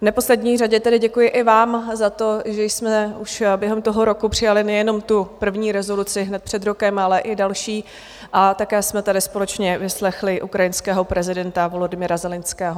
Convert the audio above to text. V neposlední řadě tedy děkuji i vám za to, že jsme už během toho roku přijali nejenom tu první rezoluci hned před rokem, ale i další, a také jsme tady společně vyslechli ukrajinského prezidenta Volodymyra Zelenského.